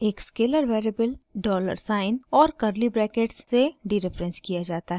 एक scalar variable dollar sign और curly brackets से डीरेफरेंस किया जाता है